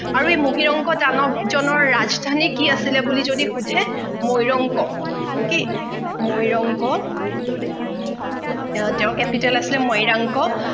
আৰু এই মহিৰংগ দানৱজনৰ ৰাজধানী কি আছিলে বুলি যদি সোধে মৈৰংগ কি মৈৰংগ তেওঁৰ capital আছিলে মৈৰাংক